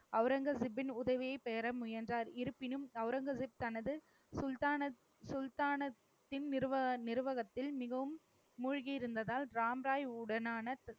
அவுரங்கசீப்பின் உதவியை பெற முயன்றார். இருப்பினும், அவுரங்கசீப் தனது சுல்தான சுல்தானத்தின் நிருவக~ நிருவகத்தில் மிகவும் மூழ்கி இருந்ததால் ராம்ராய் உடனான